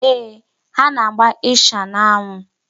Ee, ha na-agba ịsha n'anwụ.